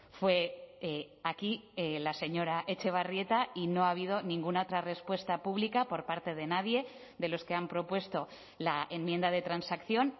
fue aquí la señora etxebarrieta y no ha habido ninguna otra respuesta pública por parte de nadie de los que han propuesto la enmienda de transacción